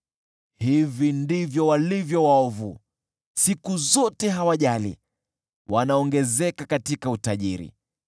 Hivi ndivyo walivyo waovu: siku zote hawajali, wanaongezeka katika utajiri.